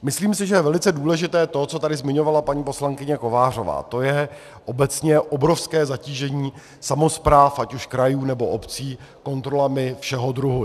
Myslím si, že je velice důležité to, co tady zmiňovala paní poslankyně Kovářová, to je obecně obrovské zatížení samospráv, ať už krajů, nebo obcí, kontrolami všeho druhu.